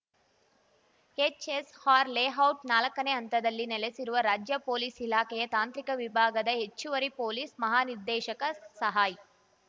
HSR ಲೇಔಟ್‌ನಾಲಕ್ಕನೇ ಹಂತದಲ್ಲಿ ನೆಲೆಸಿರುವ ರಾಜ್ಯ ಪೊಲೀಸ್‌ ಇಲಾಖೆಯ ತಾಂತ್ರಿಕ ವಿಭಾಗದ ಹೆಚ್ಚುವರಿ ಪೊಲೀಸ್‌ ಮಹಾನಿರ್ದೇಶಕ ಸಹಾಯ್‌